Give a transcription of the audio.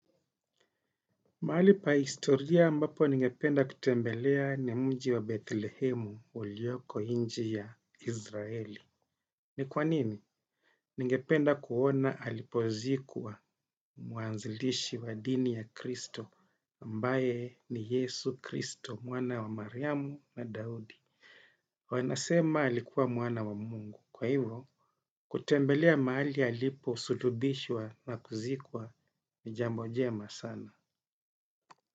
Mahali pa historia ambapo ningependa kutembelea ni mji wa Bethlehemu ulioko nchi ya Izraeli. Ni kwa nini? Ningependa kuona alipozikwa muanzilishi wa dini ya Kristo, ambaye ni Yesu Kristo, mwana wa Mariamu na Daudi. Wanasema alikuwa mwana wa Mungu. Kwa hivo, kutembelea mahali alipo sulubishwa na kuzikwa ni jambo jema sana.